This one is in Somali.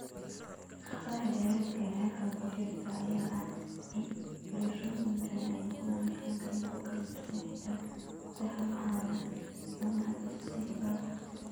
Caqabada dheeraadka ah ee halkan ku jirta ayaa ah in filashooyinkani ay noqon karaan kuwo kala duwan, xitaa gudaha waaxaha ama aagagga dugsiyo faro ku tiris ah.